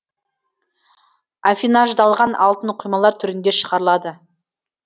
аффинаждалған алтын құймалар түрінде шығарылады